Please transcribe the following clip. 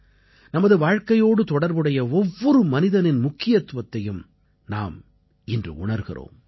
நமது வாழ்க்கையோடு தொடர்புடைய ஒவ்வொரு மனிதனின் முக்கியத்துவத்தையும் நாம் இன்று உணர்கிறோம்